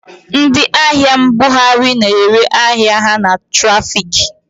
Ndị ahịa mbughari na-ere ahịa ha na trafiki.